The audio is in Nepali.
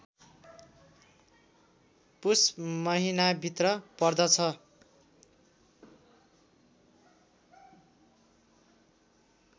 पुष महिनाभित्र पर्दछ